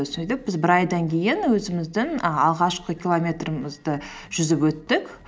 сөйтіп біз бір айдан кейін өзіміздің ы алғашқы километрімізді жүзіп өттік